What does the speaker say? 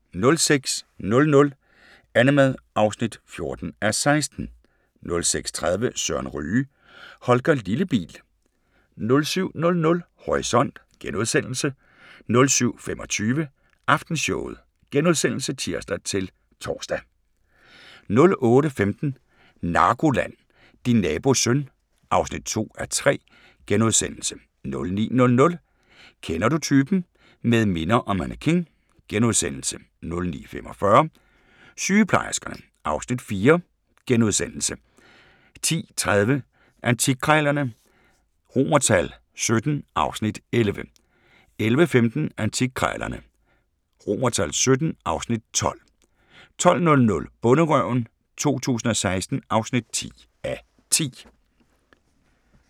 06:00: Annemad (14:16) 06:30: Søren Ryge: Holger Lillebil 07:00: Horisont * 07:25: Aftenshowet *(tir-tor) 08:15: NARKOLAND – Din nabos søn (2:3)* 09:00: Kender du typen? – Med minder og mannequin * 09:45: Sygeplejerskerne (Afs. 4)* 10:30: Antikkrejlerne XVII (Afs. 11) 11:15: Antikkrejlerne XVII (Afs. 12) 12:00: Bonderøven 2016 (10:10)